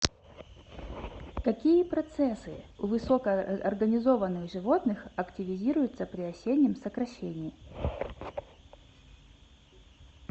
какие процессы у высокоорганизованных животных активизируются при осеннем сокращении